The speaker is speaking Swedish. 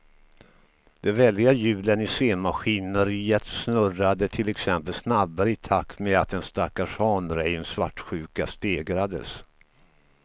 De väldiga hjulen i scenmaskineriet snurrade till exempel snabbare i takt med att den stackars hanrejens svartsjuka stegrades.